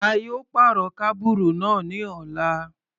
A yóò pàrọ̀ kábùrù náà ní ọ̀la.